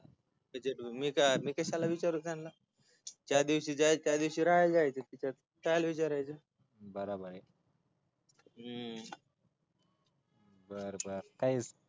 मी कशाला विचारु त्यांना ज्या दिवशी जाईल त्या दिवशी राहायला जायच तिथ कशाला विचारायच हूं बरबर काही